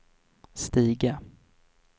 stiga